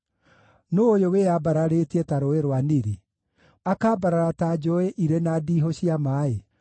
“Nũũ ũyũ wĩyambararĩtie ta Rũũĩ rwa Nili, akaambarara ta njũũĩ irĩ na ndiihũ cia maaĩ?